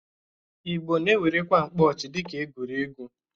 Ịgbo na-ewerekwa mkpọchị dịka egwuregwu.